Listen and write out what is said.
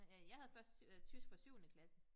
Øh ja jeg havde først øh tysk fra syvende klasse